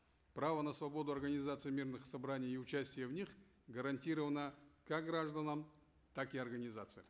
право на свободу организации мирных собраний и участия в них гарантировано как гражданам так и организациям